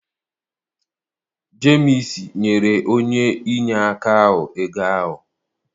Jemsi nyere onye inyeaka ahụ ego ahụ.